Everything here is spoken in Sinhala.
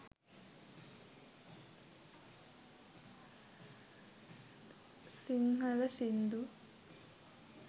sinhala sindu